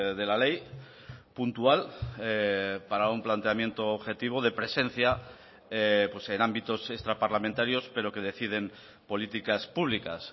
de la ley puntual para un planteamiento objetivo de presencia en ámbitos extraparlamentarios pero que deciden políticas públicas